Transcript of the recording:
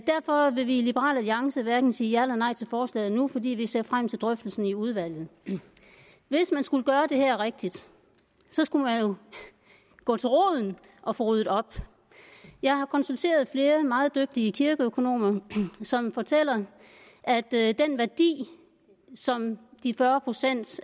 derfor vil vi i liberal alliance hverken sige ja eller nej til forslaget nu for vi vi ser frem til drøftelsen i udvalget hvis man skulle gøre det her rigtigt så skulle man jo gå til roden og få ryddet op jeg har konsulteret flere meget dygtige kirkeøkonomer som fortæller at at den værdi som de fyrre procent